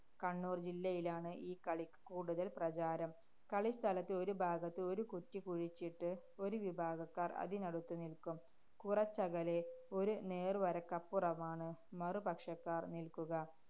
കണ്ണൂര്‍ ജില്ലയിലാണ് ഈ കളിക്ക് കൂടുതല്‍ പ്രചാരം. കളിസ്ഥലത്ത് ഒരു ഭാഗത്ത് ഒരു കുറ്റി കുഴിച്ചിട്ട് ഒരു വിഭാഗക്കാര്‍ അതിനടുത്ത് നില്ക്കും. കുറച്ചകലെ ഒരു നേര്‍വരയ്ക്കപ്പുറമാണ് മറുപക്ഷക്കാര്‍ നില്ക്കുക.